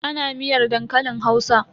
Ana miyar dankalin Hausa?